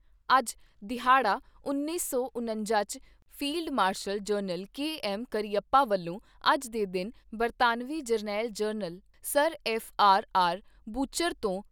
ਇਹ ਦਿਹਾੜਾ ਉੱਨੀ ਸੌ ਉਣੰਜਾ 'ਚ field marshal general K M Cariappa ਵੱਲੋਂ ਅੱਜ ਦੇ ਦਿਨ ਬਰਤਾਨਵੀ ਜਰਨੈਲ general sir F R R Bucher ਤੋਂ